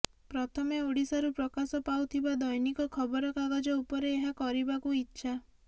ପ୍ରଥମେ ଓଡ଼ିଶାରୁ ପ୍ରକାଶ ପାଉଥିବା ଦୈନିକ ଖବରକାଗଜ ଉପରେ ଏହା କରିବାକୁ ଇଛା